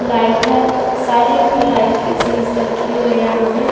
Light है सारी पढ़ाई की चीज रखी हुई है यहाँ पे।